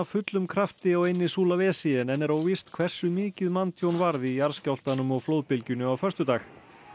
fullum krafti á eynni Sulawesi en enn er óvíst hversu mikið manntjón varð í jarðskjálftanum og flóðbylgjunni á föstudaginn